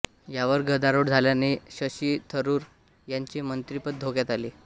यावर गदारोळ झाल्याने शशी थरूर यांचे मंत्रिपद धोक्यात आले